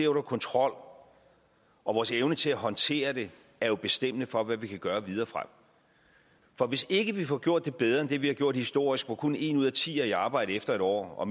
under kontrol og vores evne til at håndtere det er jo bestemmende for hvad vi kan gøre videre frem for hvis ikke vi får gjort det bedre end det vi har gjort historisk hvor kun en ud af ti er i arbejde efter en år og